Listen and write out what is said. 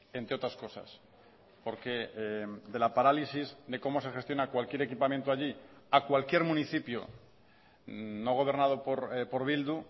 entre otras cosas porque de la parálisis de cómo se gestiona cualquier equipamiento allí a cualquier municipio no gobernado por bildu